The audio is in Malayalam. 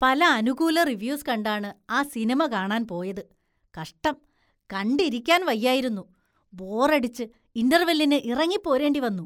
പല അനുകൂല റിവ്യൂസ് കണ്ടാണ് ആ സിനിമ കാണാന്‍ പോയത്, കഷ്ടം, കണ്ടിരിക്കാന്‍ വയ്യായിരുന്നു, ബോറടിച്ച് ഇന്റര്‍വെല്ലിന് ഇറങ്ങിപ്പോരേണ്ടി വന്നു.